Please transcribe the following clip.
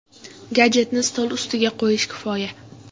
Gadjetni stol ustiga qo‘yish kifoya.